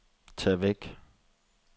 tag væk